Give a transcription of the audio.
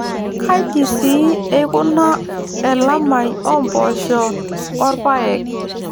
Kaji sii eukuna elamai oo mpoosho o rpayek.